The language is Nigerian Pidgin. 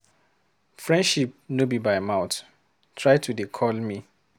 Friendship no be by mout, try to dey call me.